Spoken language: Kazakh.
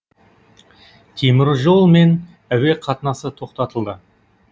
теміржол мен әуе қатынасы тоқтатылды